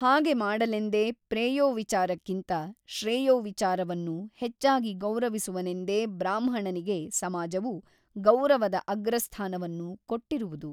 ಹಾಗೆ ಮಾಡಲೆಂದೇ ಪ್ರೇಯೋವಿಚಾರಕ್ಕಿಂತ ಶ್ರೇಯೋವಿಚಾರವನ್ನು ಹೆಚ್ಚಾಗಿ ಗೌರವಿಸುವನೆಂದೇ ಬ್ರಾಹ್ಮಣನಿಗೆ ಸಮಾಜವು ಗೌರವದ ಅಗ್ರಸ್ಥಾನವನ್ನು ಕೊಟ್ಟಿರುವುದು.